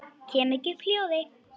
Kem ekki upp hljóði.